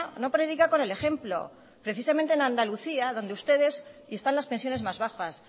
no predica con el ejemplo precisamente en andalucía donde ustedes y están las pensiones más bajas